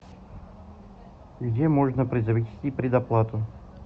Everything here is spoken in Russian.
где можно произвести предоплату